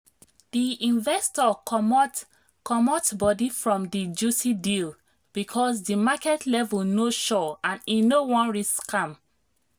the investor comot comot body from the juicy deal because the market level no sure and e no wan risk am.